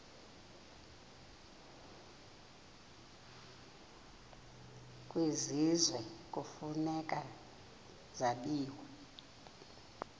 kwisizwe kufuneka zabiwe